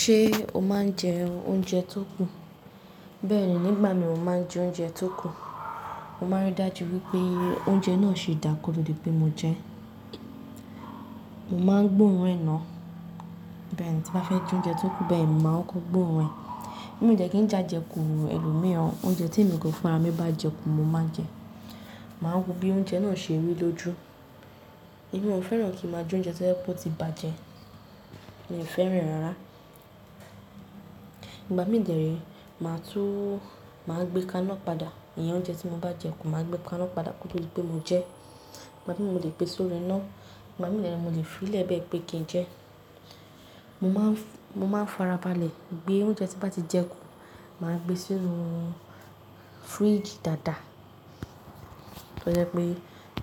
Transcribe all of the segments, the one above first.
Ṣé o máa ń jẹ oúnjẹ tó kù? Bẹ́ẹ̀ni, nígbà mìíràn mo máa ń jẹ oúnjẹ tó kù. Mo máa ń rí dájú wípé oúnjẹ náà ṣi dáa kóto di pé mo jẹ ẹ́. Mo máa ń gbóòórùn ẹ náà. Bẹ́ẹ̀ni, tí bá fẹ́ jẹ oúnjẹ tó kù, bẹ́ẹ̀ ni mo màá kọ́kó gbóòórùn ẹ. Mi dẹ́ kí n j'àjẹkù ẹlòmíràn. Oúnjẹ tí èmi gangan fún ara mi bá jẹ kù, mo máa jẹ ẹ́. Màá wo bí oúnjẹ náà ṣe rí lójú. Èmi òn fẹ́ràn kí n máa jẹ oúnjẹ tó jẹ pébó ti bàjẹ́. Mi ò fẹ́ràn rárá. Ìgbà mìí dè rèé, màá tún máa gbé kánná padà. Ìyẹn oúnjẹ tí mo bá jẹ kù, màá gbé kánná padà kótó dipé mo jẹ ẹ́. Ìgbà mìíràn mo lè gbé sórí iná. Ìgbà mìíràn mo lè filẹ́ bẹ̀ẹ́ pé kí n jẹ ẹ́. Mo máa ń farabalẹ̀ gbé oúnjẹ tí bá ti jẹ kù, màá gbé sínú fridge dáadáa. Tó jẹ́ pé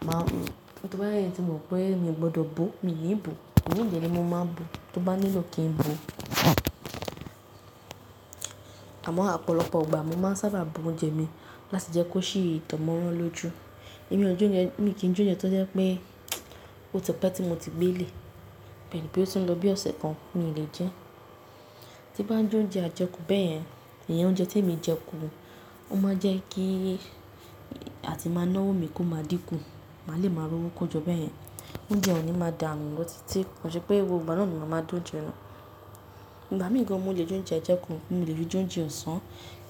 màá tí mo bá jé èyí tí mo mọ̀ pé miò gbọdọ̀ bò ó, mi ni bò ó. Ìmíì dè rèé mo máa ń bò ó tí ó bá nílò kí n bò ó. Àmọ́ ọ̀pọ̀lọpọ̀ ìgbà mo máa ń sábà bo oúnjẹ mi láti jẹ́ kó sì dánmọ́rán lóju. Èmi kò jẹ oúnjẹ, mi kì í jẹ oúnjẹ tó jẹ́ pé ó ti pẹ́ tí mo ti gbé lè. Bẹ́ẹ̀ ni pé ó ti ń lọ bí ọ̀sẹ̀ kan, mi ò lè jẹ ẹ́. Tí bá jẹ́ oúnjẹ àjẹkù bẹ́ẹ̀ yẹn, ìyẹn oúnjẹ tí èmi jẹ kù, ó máa jẹ́ kí atì máa ná ọwọ́ mi kó máa dínkù. Màá lè máa rówó kójọ bẹ́ẹ̀ yẹn. Oúnjẹ ò ní máa dànù lọ́ títí, kò n ṣé pé gbogbo ìgbà náà ni màá máa da oúnjẹ nù. Ìgbà mìí gan mo lè jẹ oúnjẹ àjẹkù, mo lè fi jẹ oúnjẹ ọ̀sán,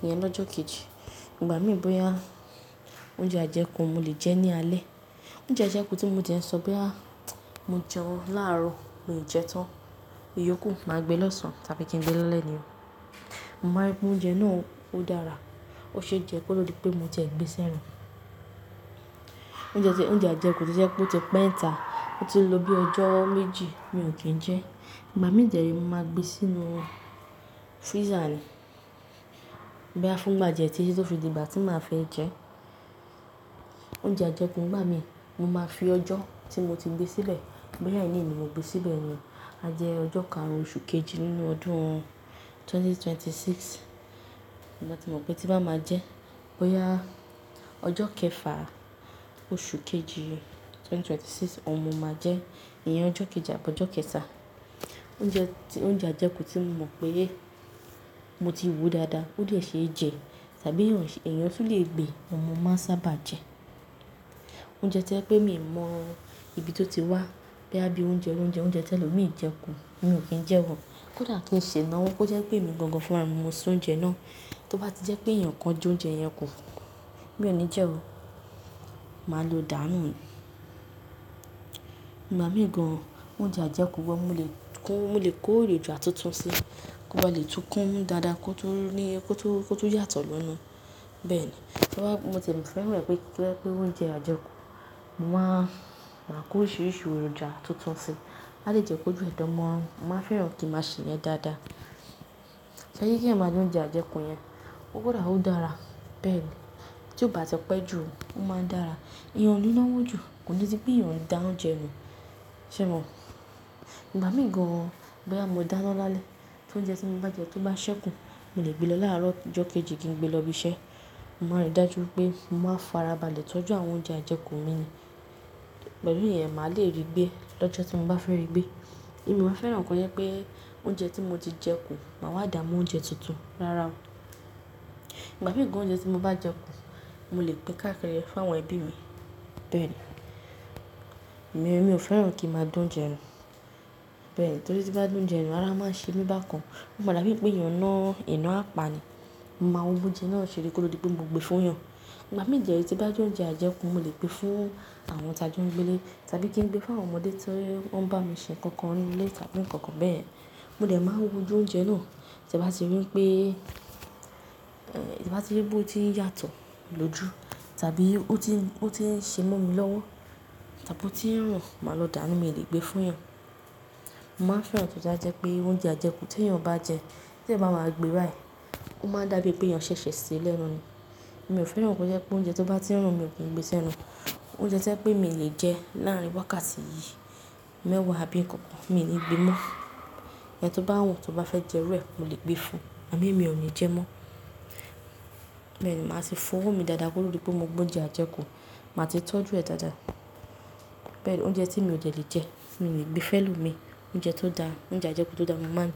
ìyẹn lọ́jọ́ kejì. Ìgbà mìí bóyá oúnjẹ àjẹkù mo lè jẹ ẹ́ ní alẹ́. Oúnjẹ àjẹkù tí mò de n ṣọ bóyá mo jẹun láàárọ̀ mio jẹtan, iyókù màá gbé lọ̀sán tàbí kí n gbé lálẹ́ ní oo. Mo máa n rí pé oúnjẹ náà ó dára. Ó ṣe é jẹ́ kótó di pé mo ti ẹ̀ gbé sí ara. Oúnjẹ àjẹkù tí ó jẹ́ pé ó ti pẹ́ ńta, ó ti ń lọ bí ọjọ́ méjì, mi ò kì í jẹ ẹ́. Ìgbà mìí dè rèé mo máa gbé e sínú freezer ni bóyá fún ìgbà díẹ̀ títí tó fi dì'gbà tí màá fẹ́ jẹ ẹ́. Oúnjẹ àjẹkù ngbà mìí mo máa fi ọjọ́ tí mo ti gbé sílẹ̀, bóyá ení ni mo gbé síbẹ̀ ni, a jẹ ọjọ́ karùn-ún oṣù kejì nínú ọdún ẹgbẹ̀rún méjì ó lé mẹ́rìndínlọ́gbọ̀n. Ìgbà tí mo mọ̀ pé tí bá máa jẹ ẹ́, bóyá ọjọ́ kẹfà oṣù kejì ẹgbẹ̀rún méjì ó lé mẹ́rìndínlọ́gbọ̀n oun mọ máa jẹ ẹ́. Ìyẹn ọjọ́ kejì àbọ́jọ́ kẹta. Oúnjẹ àjẹkù tí mo mọ̀ pé mo ti wo dáadáa, ó dè ṣe é jẹ tàbí èèyàn tún lè gbé, òun mo máa ń sábà jẹ ẹ́. Oúnjẹ to jẹ pé mi mọ ibi tó ti wá, bóyá bí i oúnjẹ oloúnjẹ, oúnjẹ tí elòmiì jẹ kù, mi ò kí n jẹ́ ọ. Kódà kí n ṣe ináwó, kó jẹ́ pé èmi gangan fúnrami mo s'oúnjẹ náà, tí ó bá ti jẹ́ pé èèyàn kan jẹ oúnjẹ yẹn kù, mi ò ní jẹ ọ́. Màá lo dàá nù ni. Ìgbà míì gan oúnjẹ àjẹkù gan mo lè kó èròjà tuntun síi, kó bá lè tu kún dáadáa, kó tún yàtọ̀ lénu. Bẹ́ẹ̀ni. Mo tie fẹ́ràn e wípé kí ó jẹ́ pé oúnjẹ àjẹkù, màá kó oríṣiríṣi èròjà tuntun síi á lè jẹ́ kójúè dánmọ́rán. Mo máa fẹ́ràn kí màá ṣeyen dáadáa. Ṣé'rí k'èèyàn máa jẹ oúnjẹ àjẹkù yẹn, kódà ó dára. Bẹ́ẹ̀ni. Tí ó bá ti pẹ́jù, ó máa ń dára. Èèyàn ó ni ná'wó jù, kò ní sí pé èèyàn n dá oúnjẹ nù. Sé mo? Ìgbà míì gan, bóyá mo dá'ná lálẹ́, t'óunjẹ́ tí mo bá jẹ ẹ́, tó bá ṣẹ́ kù, mo lè gbé lọ láàárọ̀ ọjọ́ kejì kí n gbé lọ ibi iṣẹ́. Mo máa rí dájú wípé mo máa farabalẹ̀ tọ́jú àwọn oúnjẹ àjẹkù mi ni. Pẹ̀lú ìyẹn, màá lè rí gbé lọ́jọ́ tí mo bá fẹ́ rí gbé. Mio wa fẹ́ràn ko jẹ́ pé oúnjẹ tí mo ti jẹ kù, màá wá dà á mọ́ oúnjẹ tuntun. Rárá o. Ìgbà míì gan oúnjẹ tí mo bá jẹ kù, mo lè pin káàkiri f'àwọn ẹbí mi. Bẹ́ẹ̀ ni. Èmi ò fẹ́ràn kí màá d'oúnjẹ nù. Bẹ́ẹ̀ ni. Torí tí bá d'oúnjẹ nù, ará máa ń ṣe mí bákan. Ó máa dàbí pé èèyàn ná, iná apà ni. Mo máa wo b'oúnjẹ náà ṣe rí kó tó dipé mo gbé fún yàn. Ìgbà míì dè rèé tí bá jẹ́ oúnjẹ àjẹkù, mo lè gbé fún àwọn tà joun gbélé tàbí kin gbéefún àwọn ọmọdé t'oun bá mi ṣe nǹkan kan nínú ilé tàbí nǹkan kan bẹ́ẹ̀yen. Mo dè máa n wo ojú oúnjẹ náà, tí bá ti rí pé, tí n bá ti rí pé ó ti ń yàtọ̀ lóju tàbí ó ti ń ṣe mọ́ mi lọ́wọ́ tàbí ó ti rùn, màá lọ dàá nù, mi ò lè gbé fún yàn. Mo máa fẹ́ràn tó báa jẹ́ pé oúnjẹ àjẹkù tí èèyàn bá jẹ, t'èèyàn bá máa gbe báìí, ẹ̀, ó máa dàbí pé èèyàn ṣẹ̀ṣẹ̀ ṣe é lẹ́nu ni. Èmi ò fẹ́ràn kí ó jẹ́ pé oúnjẹ tó bá ti n rùn, mio ki n gbé ẹ́ sẹ́nu. Oúnjẹ tó jẹ pé mi lè jẹ láàrin wákàtí mẹ́wàá àbí nkankan, mi ò ní gbé mọ́. Ẹni tó bá wù ú, tó bá fẹ́ jẹ'rú ẹ, mo lè gbé fún un, àmó èmi ò ní jẹ ẹ́ mọ́. Bẹ́ẹ̀ ni, màá tì fọwọ́ mi dáadáa kótó dipé mo gbé oúnjẹ àjẹkù, màá ti tọ́jú ẹ dáadáa. Bẹ́ẹ̀ ni, oúnjẹ tí mi ò dẹ lè jẹ, mi ò lè gbé f'ẹ́lomíì. Oúnjẹ tó dáa, oúnjẹ àjẹkù tó dáa, mo máa ń jẹ ẹ́.